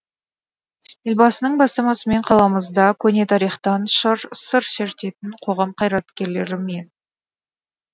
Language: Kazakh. елбасының бастамасымен қаламызда көне тарихтан сыр шертетін қоғам қайраткерлері мен